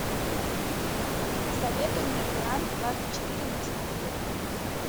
посоветуй мне франс двадцать четыре на телевизоре